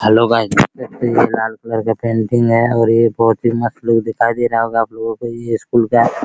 hello guys देख सकते हैं यह लाल कलर का पेंटिंग है और यह बहुत ही मस्त लुक दिखाई दे रहा होगा आप लोगों को ये स्कूल का --